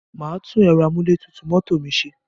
Màá tún ẹ̀rọ amúlétutù mọ́tò mi ṣe.